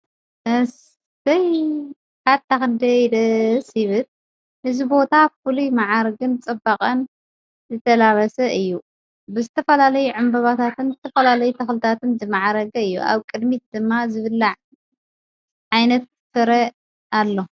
ኣስተይ ሓታኽንደይ ደ ሲብት ሕዝቦታ ፍሉ መዓርግን ጸበቐን ዘተላበሰ እዩ ብስተፈላለይ ዕምበባታትን ዝትፈላለይ ተኽልታትን ዘመዓረገ እዩ ኣብ ቅድሚት ድማ ዝብላዕ ዓይነት ፍረ ኣሎ።